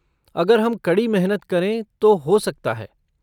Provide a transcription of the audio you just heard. अगर हम कड़ी मेहनत करें तो हो सकता है।